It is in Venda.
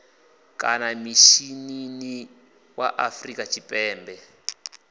kana mishinini wa afrika tshipembe